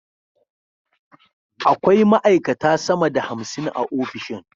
Akwai ma’aikata sama da hamsin a ofishin